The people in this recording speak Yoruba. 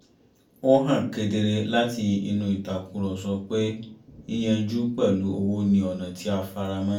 ó han kedere láti inú ìtàkùrọ̀sọ pé yíyanjú pẹ̀lú owó ni ọ̀nà tí a faramọ́